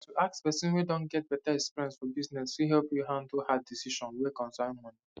to ask person wey don get better experience for business fit help you handle hard decisions wey concern money